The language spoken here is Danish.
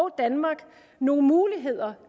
danmark nogle muligheder